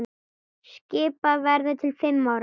Skipað verður til fimm ára.